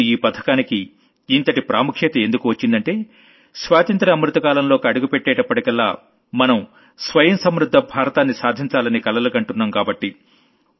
ఇప్పుడు ఈ పథకానికి ఇంతటి ప్రాముఖ్యత ఎందుకు వచ్చిందంటే స్వాతంత్ర్య అమృత కాలంలోకి అడుగుపెట్టేటప్పటికల్లా మనం స్వయం సమృద్ధ భారతాన్ని సాధించాలని కలలుగంటున్నాం కాబట్టి